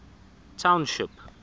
township